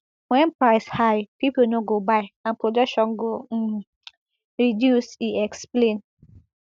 wen price high pipo no go buy and production go um reduce e explain